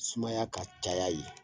Sumaya ka caya yen